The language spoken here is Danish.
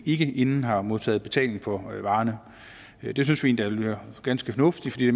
ikke inden har modtaget betaling for varerne det synes vi endda ville være ganske fornuftigt fordi det